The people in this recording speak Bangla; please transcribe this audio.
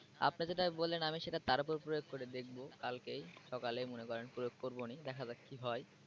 আপনি যেটা বললেন আমি সেটা তার উপর প্রয়োগ করে দেখব কালকে সকালে মনে করেন প্রয়োগ করবোনি দেখা যাক কি হয়।